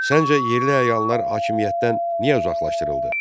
Səncə yerli əyanlar hakimiyyətdən niyə uzaqlaşdırıldı?